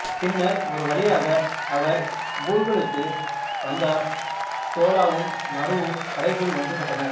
பின்னர் ஒருவழியாக அவர் பூகலுக்கு வந்தார் தோலாவும் மருவும் கடைசியில் ஒன்றுபட்டனர்